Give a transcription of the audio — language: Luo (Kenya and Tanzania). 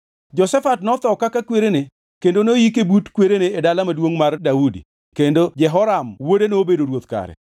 Jehoshafat notho kaka kwerene kendo noyike but kwerene e Dala Maduongʼ mar Daudi kendo Jehoram wuode nobedo ruoth kare.